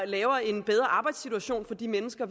laver en bedre arbejdssituation for de mennesker